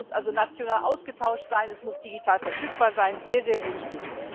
Das muss also national ausgetauscht sein, es muss digital verfügbar sein sehr, sehr wichtig.